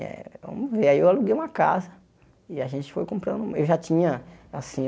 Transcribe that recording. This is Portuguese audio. Eh e aí eu aluguei uma casa e a gente foi comprando. Eu já tinha assim